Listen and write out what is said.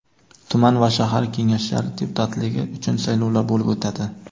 tuman va shahar Kengashlari deputatligi uchun saylovlar bo‘lib o‘tadi.